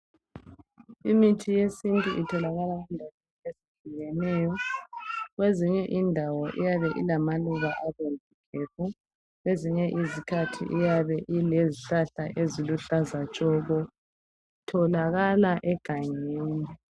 Imithi yesintu itholakala endaweni ezitshiyeneyo. Kwezinye indawo iyabe ilamaluba abomvu gebhu. Kwezinye izikhathi iyabe ilezihlahla eziluhlaza tshoko. Itholakala egangeni.